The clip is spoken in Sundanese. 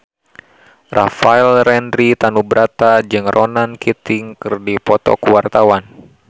Rafael Landry Tanubrata jeung Ronan Keating keur dipoto ku wartawan